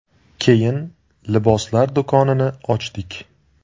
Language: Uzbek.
Keyin liboslar do‘konini ochdik.